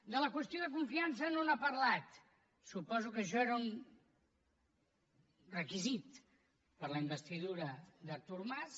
de la qüestió de confiança no n’ha parlat suposo que això era un requisit per a la investidura d’artur mas